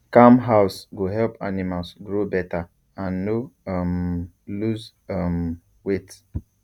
calm house go help animals grow better and no um lose um weight